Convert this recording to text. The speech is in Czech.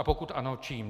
A pokud ano, čím?